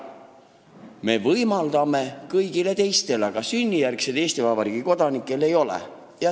Me võimaldame keeleõpet kõigile teistele, aga sünnijärgsetele Eesti Vabariigi kodanikele mitte.